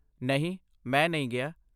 ਨਹੀਂ, ਮੈਂ ਨਹੀਂ ਗਿਆ।